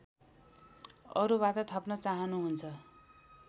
अरूबाट थप्न चाहनुहुन्छ